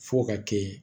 Fo ka kɛ